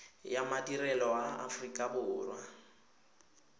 ya madirelo a aforika borwa